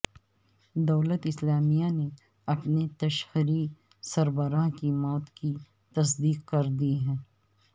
دولت اسلامیہ نے اپنے تشہیری سربراہ کی موت کی تصدیق کردی ہے